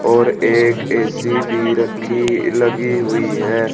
और एक ए_सी भी रखी लगी हुई है।